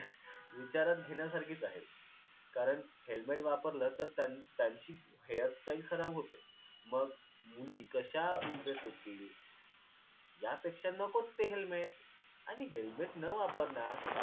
विचारात घेण्यासारखीच आहेत कारण helmet वापरलं तर त्यां त्यांची hairstyle खराब होते. मग मुली कशा impress होतील? यापेक्षा नकोच ते helmet. आणि helmet न वापरण्यात